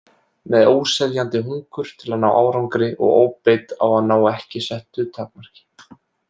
Með óseðjandi hungur til að ná árangri og óbeit á að ná ekki settu takmarki.